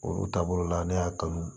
Olu taabolo la ne y'a kanu